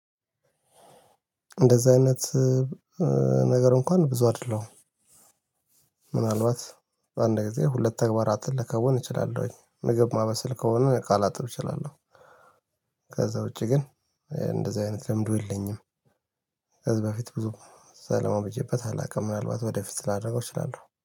እንደዛ አይነት ነገር እንኳን ብዙ አይደለሁም። ምናልባት አንድ ጊዜ ሁለት ተግባራትን ልከወን እችላለሁኝ ምግብ ማበሰል ከሆነ እቃ ላጥብ እችላለሁ። ከዛ ውጪ ግን እንደዚህ አይነት ልምዱ የለኝም። ከዛ በፊት ብዙ ሰላማው ብቼበት አላውቅም ምናልባት ወደፊት ስፐላደረገው እችላለሁ